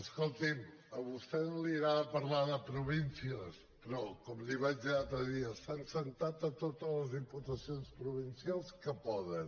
escolti’m a vostè no li agrada parlar de províncies però com li vaig dir l’altre dia s’han assegut a totes les diputacions provincials que poden